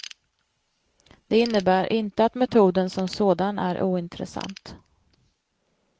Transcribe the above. Det innebär inte att metoden som sådan är ointressant.